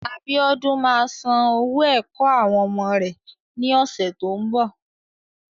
Abíódún ma san owó ẹ̀kọ́ àwọn ọmọ rẹ́ ní ọ̀sẹ̀ tó ń bọ̀.